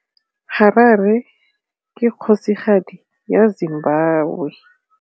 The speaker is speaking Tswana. Harare ke kgosigadi ya Zimbabwe.